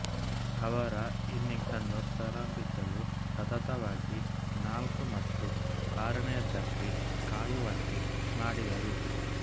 ಅವರ ಇನ್ನಿಂಗ್ಸ್ ಅನ್ನು ಪ್ರಾರಂಭಿಸಲು ಸತತವಾಗಿ ನಾಲ್ಕು ಮತ್ತು ಆರನೆಯದಕ್ಕೆ ಕಾಯುವಂತೆ ಮಾಡಿದರು